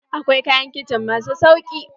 Akwai kayan kicin masu sauƙi.